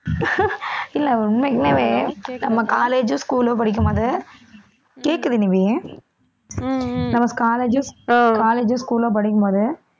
இல்லை உண்மைக்குமே நம்ம college ஓ school ஓ படிக்கும்போது கேட்குது நிவி நம்ம college ஓ, college ஓ school ஓ படிக்கும்போது